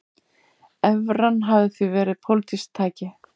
Evran hafi því verið pólitískt tæki